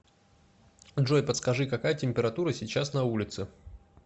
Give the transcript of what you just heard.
джой подскажи какая температура сейчас на улице